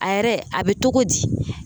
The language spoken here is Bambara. A yɛrɛ a bɛ togo di